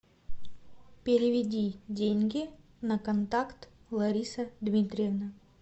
переведи деньги на контакт лариса дмитриевна